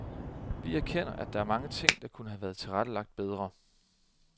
Vi erkender, at der er mange ting, der kunne have været tilrettelagt bedre.